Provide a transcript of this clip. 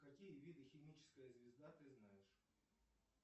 какие виды химическая звезда ты знаешь